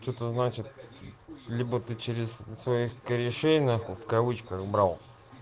это значит либо ты через своих корешей нахуй в кавычках брал